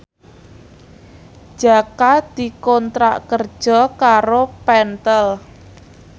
Jaka dikontrak kerja karo Pentel